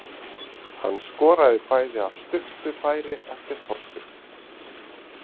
Hann skoraði bæði af stuttu færi eftir hornspyrnur.